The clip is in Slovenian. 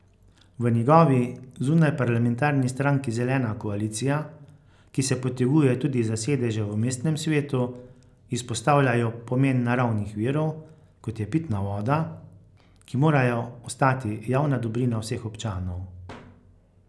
V njegovi, zunajparlamentarni stranki Zelena koalicija, ki se poteguje tudi za sedeže v mestnem svetu, izpostavljajo pomen naravnih virov, kot je pitna voda, ki morajo ostati javna dobrina vseh občanov.